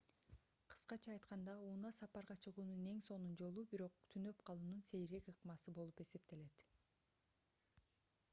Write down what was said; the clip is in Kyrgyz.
кыскача айтканда унаа сапарга чыгуунун эң сонун жолу бирок түнөп калуунун сейрек ыкмасы болуп эсептелет